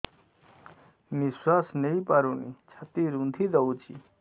ନିଶ୍ୱାସ ନେଇପାରୁନି ଛାତି ରୁନ୍ଧି ଦଉଛି